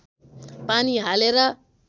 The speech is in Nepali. पानी हालेर